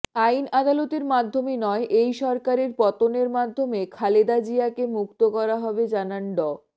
আইন আদালতের মাধ্যমে নয় এই সরকারের পতনের মাধ্যমে খালেদা জিয়াকে মুক্ত করা হবে জানান ড